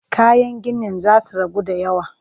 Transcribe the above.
Kayan ginin za su ragu da yawa